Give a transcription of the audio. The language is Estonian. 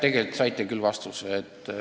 Tegelikult saite küll vastuse.